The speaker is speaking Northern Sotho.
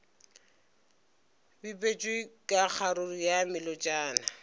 bipetšwe ka kgaruru ya melotšana